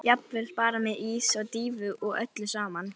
Jafnvel bara ís með dýfu og öllu saman.